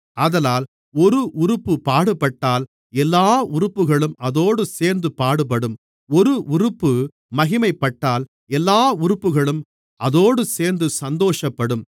ஆதலால் ஒரு உறுப்பு பாடுபட்டால் எல்லா உறுப்புகளும் அதோடுசேர்ந்து பாடுபடும் ஒரு உறுப்பு மகிமைப்பட்டால் எல்லா உறுப்புகளும் அதோடுசேர்ந்து சந்தோஷப்படும்